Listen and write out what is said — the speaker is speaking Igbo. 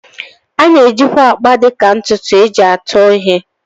A na-ejikwa akpa dịka ntụtụ e ji atụ ihe